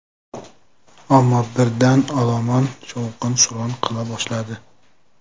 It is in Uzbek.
Ammo birdan olomon shovqin-suron qila boshladi.